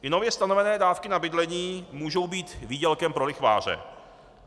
I nově stanovené dávky na bydlení můžou být výdělkem pro lichváře.